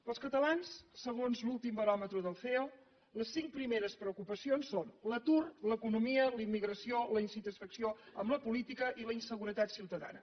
per als catalans segons l’últim baròmetre del ceo les cinc primeres preocupacions són l’atur l’economia la immigració la insatisfacció amb la política i la inseguretat ciutadana